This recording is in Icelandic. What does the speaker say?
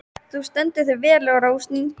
Þú stendur þig vel, Rósný!